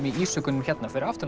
í ísjakanum fyrir aftan